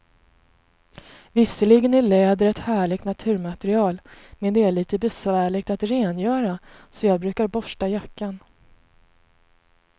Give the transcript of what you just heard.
Visserligen är läder ett härligt naturmaterial, men det är lite besvärligt att rengöra, så jag brukar borsta jackan.